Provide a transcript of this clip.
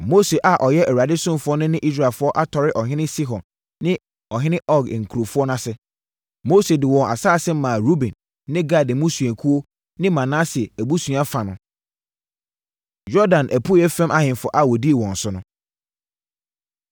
Na Mose a ɔyɛ Awurade ɔsomfoɔ no ne Israelfoɔ atɔre ɔhene Sihon ne ɔhene Og nkurɔfoɔ ase. Mose de wɔn asase maa Ruben ne Gad mmusuakuo ne Manase abusua fa no. Yordan Apueeɛ Fam Ahemfo A Wɔdii Wɔn So